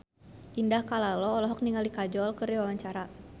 Indah Kalalo olohok ningali Kajol keur diwawancara